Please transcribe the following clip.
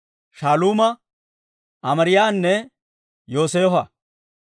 Shaaluuma, Amaariyaanne Yooseefo.